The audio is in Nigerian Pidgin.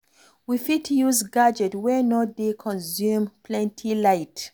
We fit use gadget wey no dey consume plenty light